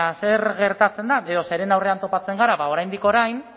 zer gertatzen da edo zeren aurrean topatzen gara ba oraindik orain